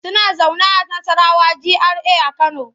Suna zaune a Nassarawa GRA a Kano.